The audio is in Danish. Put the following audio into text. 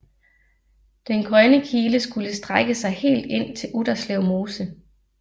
Den grønne kile skulle strække sig helt ind til Utterslev Mose